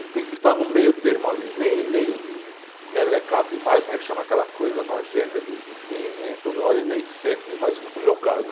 Ele tem que estar no meio termo ali, nem, nem melecado demais, como é que chama aquela coisa nojenta de de, toda hora, e nem seco demais, como é o meu caso.